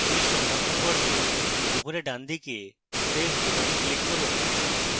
quiz সংরক্ষণ করতে উপরে ডানদিকে save বোতামে click করুন